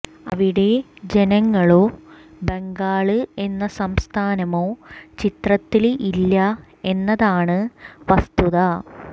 അവിടെ ജനങ്ങളോ ബംഗാള് എന്ന സംസ്ഥാനമോ ചിത്രത്തില് ഇല്ല എന്നതാണ് വസ്തുത